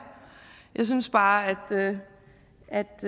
jeg synes bare at det